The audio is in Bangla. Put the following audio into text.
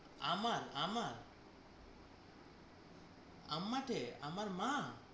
আমার আমার আম্মা কে আমার মা?